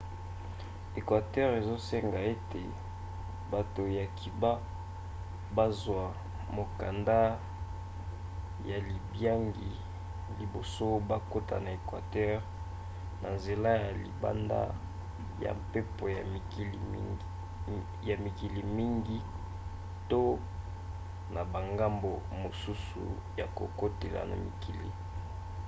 équateur ezosenga ete bato ya cuba bazwa mokanda ya libiangi liboso bakota na équateur na nzela ya libanda ya mpepo ya mikili mingi to na bangambo mosusu ya kokotela na mikili